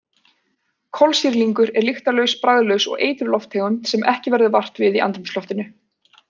Kolsýrlingur er lyktarlaus, bragðlaus og eitruð lofttegund sem ekki verður vart við í andrúmsloftinu.